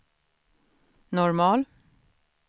normal